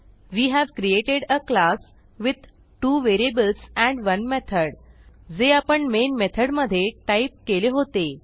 way have created a class with 2 variables and 1 method जे आपण main मेथडमध्ये type केले होते